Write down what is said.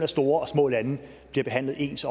store og små lande bliver behandlet ens